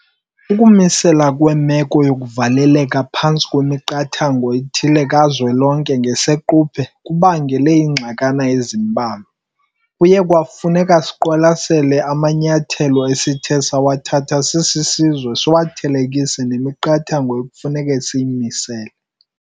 Ukumiselwa kwemeko yokuvaleleka phantsi kwemiqathango ethile kukazwelonke ngesiquphe kubangele iingxakana ezimbalwa. Kuye kwafuneka siqwalasele amanyathelo esithe sawathatha sisisizwe siwathelekise namiqathango ekufuneka siyimisele.